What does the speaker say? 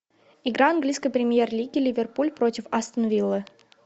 игра английской премьер лиги ливерпуль против астон виллы